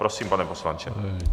Prosím, pane poslanče.